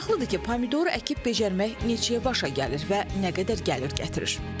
Maraqlıdır ki, pomidor əkib becərmək neçəyə başa gəlir və nə qədər gəlir gətirir?